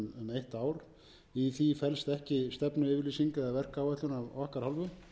eitt ár í því felst ekki stefnuyfirlýsing eða verkáætlun af okkar hálfu